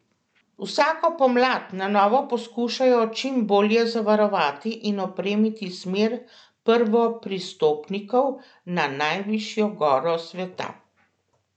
Vsako pomlad na novo poskušajo čim bolje zavarovati in opremiti smer prvopristopnikov na najvišjo goro sveta.